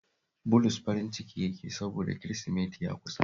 Bulus farin ciki yake yi sabods Kirisimeti ya kusa